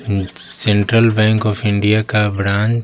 central bank of India का branch --